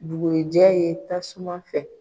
Bugurijɛ ye tasuma fɛ.